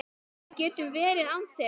Við getum verið án þeirra.